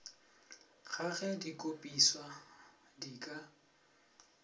ga ge dikopišwa di ka